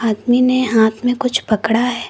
आदमी ने हाथ में कुछ पड़ा है।